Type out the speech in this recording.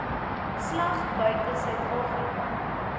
slag buite suidafrika